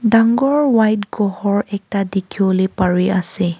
dangor white go hor ekta dikhibo le pari ase.